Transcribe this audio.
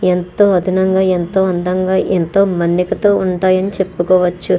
ఎంతో ఆదనంగా ఎంతో అందంగా ఎంతో మన్నికతో ఉంటాయని చెప్పుకోవచ్చు.